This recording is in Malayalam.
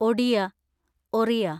ഒഡിയ (ഒറിയ)